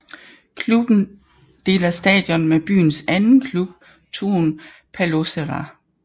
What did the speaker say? Klubben deler stadion med byens anden klub Turun Palloseura